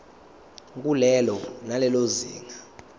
kulelo nalelo zinga